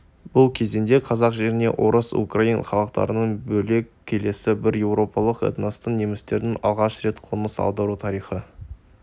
бұл кезеңде қазақ жеріне орыс украин халықтарынан бөлек келесі бір еуропалық этностың немістердің алғаш рет қоныс аудару тарихы